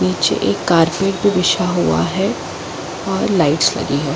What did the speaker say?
नीचे एक का कार्पेट भी बिछा हुआ है और लाइट लगी हुई हैं।